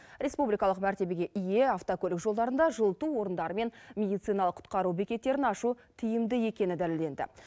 республикалық мәртебеге ие автокөлік жолдарында жылыту орындары мен медициналық құтқару бекеттерін ашу тиімді екені дәлелденді